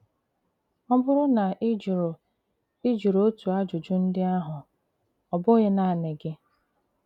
Ọ̀ bùrù na ị jụrụ ị jụrụ otu àjùjù ndị àhụ, ọ̀ bụ̀ghị̀ nanị gị.